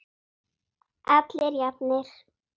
Allir jafnir.